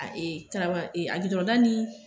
Tarama a da ni